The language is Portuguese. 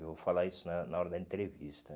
Vou falar isso na na hora da entrevista.